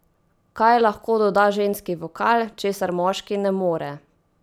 Kaj lahko doda ženski vokal, česar moški ne more?